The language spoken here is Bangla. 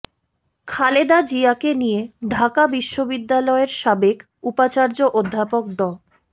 খালেদা জিয়াকে নিয়ে ঢাকা বিশ্ববিদ্যালয়ের সাবেক উপাচার্য অধ্যাপক ড